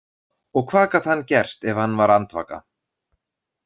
Og hvað gat hann gert ef hann var andvaka?